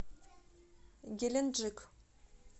геленджик